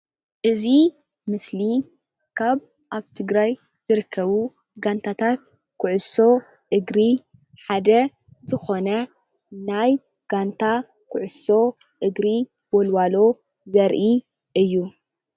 እዚ ምስሊ ካብ አብ ትግራይ ዝርከቡ ጋንታታት ኩዕሶ እግሪ ሓደ ዝኾነ ናይ ጋንታ ኩዕሶ እግሪ ወልዋሎ ዘርኢ እዩ።